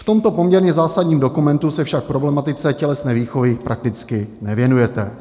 V tomto poměrně zásadním dokumentu se však problematice tělesné výchovy prakticky nevěnujete.